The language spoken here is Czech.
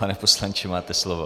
Pane poslanče, máte slovo.